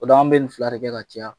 O don an bɛ nin fila de kɛ ka caya.